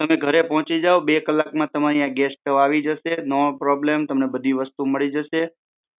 તમે ઘર પહોચી જાવ બે કલાકમાં તમારા ઘરે ગેસ સ્ટોવ આવી જશે નો પ્રોબ્લમ તમને બધી વસ્તુઓ મળી જશે